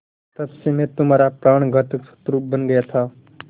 तब से मैं तुम्हारा प्राणघातक शत्रु बन गया था